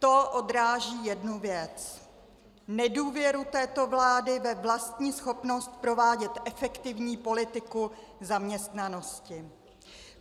To odráží jednu věc - nedůvěru této vlády ve vlastní schopnost provádět efektivní politiku zaměstnanosti.